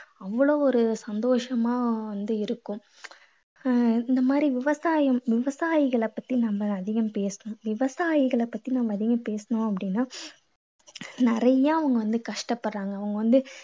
அவ்வளவு ஒரு சந்தோஷமா வந்து இருக்கும். ஆஹ் இந்த மாதிரி விவசாயம் விவசாயிகளை பத்தி நம்ம அதிகம் பேசுறோம் விவசாயிகளை பத்தி நம்ம அதிகம் பேசினோம் அப்படீன்னா நிறைய அவங்க வந்து கஷ்டப்படறாங்க. அவங்க வந்து